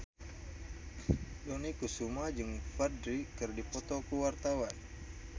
Dony Kesuma jeung Ferdge keur dipoto ku wartawan